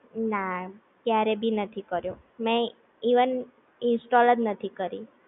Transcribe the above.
ના ક્યારેય ભી નથી કર્યો મે ઈવન ઇન્સ્ટોલ જ નથી કરી